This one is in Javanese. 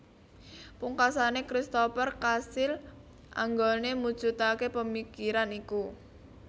Pungkasane Christoper kasil anggone mujudake pamikiran iku